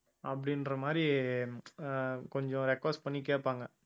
அப்படின்ற மாதிரி ஆஹ் கொஞ்சம் request பண்ணி கேட்பாங்க